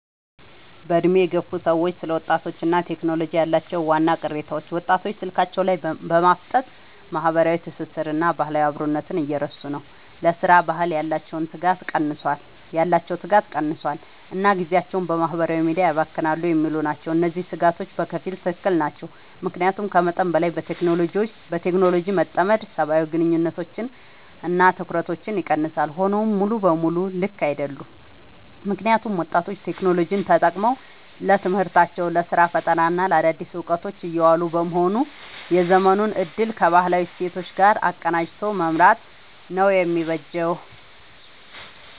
በዕድሜ የገፉ ሰዎች ስለ ወጣቶችና ቴክኖሎጂ ያላቸው ዋና ቅሬታዎች፦ ወጣቶች ስልካቸው ላይ በማፍጠጥ ማህበራዊ ትስስርንና ባህላዊ አብሮነትን እየረሱ ነው: ለሥራ ባህል ያላቸው ትጋት ቀንሷል: እና ጊዜያቸውን በማህበራዊ ሚዲያ ያባክናሉ የሚሉ ናቸው። እነዚህ ስጋቶች በከፊል ትክክል ናቸው። ምክንያቱም ከመጠን በላይ በቴክኖሎጂ መጠመድ ሰብአዊ ግንኙነቶችንና ትኩረትን ይቀንሳል። ሆኖም ሙሉ በሙሉ ልክ አይደሉም: ምክንያቱም ወጣቶች ቴክኖሎጂን ተጠቅመው ለትምህርታቸው: ለስራ ፈጠራና ለአዳዲስ እውቀቶች እያዋሉት በመሆኑ የዘመኑን እድል ከባህላዊ እሴቶች ጋር አቀናጅቶ መምራት ነው የሚበጀው።